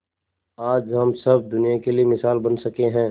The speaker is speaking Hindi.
आज हम सब दुनिया के लिए मिसाल बन सके है